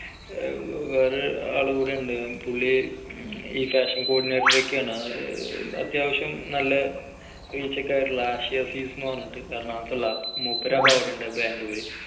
വേറൊരാളും കൂടിയുണ്ട് പുള്ളി ഈ fashion cordinator ഒക്കെയാണ് അത്യാവശ്യം നല്ല reach ഒക്കെ ഉള്ള ആഷി അസീസ്എന്ന് പറഞ്ഞിട്ട് എറണാകുളത്തുള്ളതാണ് മൂപ്പരപ്പ് അവിടെയുണ്ട് ബാംഗ്ലൂര്